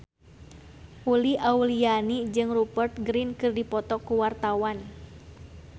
Uli Auliani jeung Rupert Grin keur dipoto ku wartawan